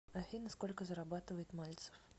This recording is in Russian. афина сколько зарабатывает мальцев